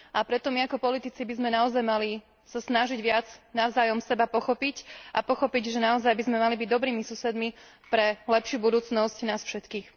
Preto my ako politici by sme naozaj mali sa snažiť seba navzájom pochopiť a pochopiť, že naozaj by sme mali byť dobrými susedmi pre lepšiu budúcnosť nás všetkých.